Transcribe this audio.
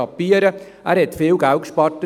» Er hat dabei viel Geld gespart.